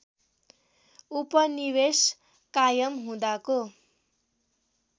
उपनिवेश कायम हुँदाको